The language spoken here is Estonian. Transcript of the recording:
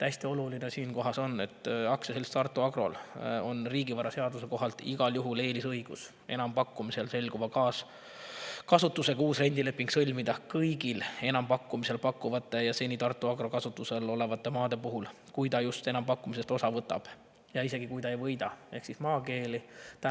" Hästi oluline on siinkohal, et AS Tartu Agrol on riigivaraseaduse kohaselt igal juhul eelisõigus sõlmida enampakkumisel selguva kasutusega uus rendileping kõigi enampakkumisel pakutavate ja seni Tartu Agro kasutuses olevate maade puhul, kui ta enampakkumisest osa võtab, seda isegi juhul, kui ta enampakkumist ei võida,.